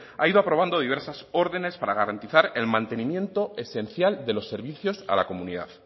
ha ido aprobando diversas órdenes para garantizar el mantenimiento esencial de los servicios a la comunidad